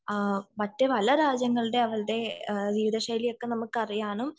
മറ്റു പല രാജ്യങ്ങളുടെ അവരുടെ ജീവിത ശൈലി ഒക്കെ നമുക്ക് അറിയാനും